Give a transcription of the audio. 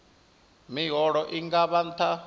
miholo i nga vha nṱha